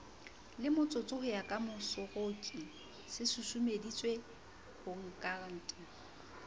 lemotsotso ho ya kamooseroki sesusumetsehangkateng